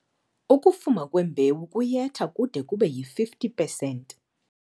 Ukufuma kwembewu kuyetha kude kube yi-50 percent.